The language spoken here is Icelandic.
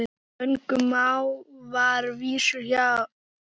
Löngum má þar vísur sjá.